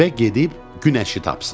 Və gedib günəşi tapsın.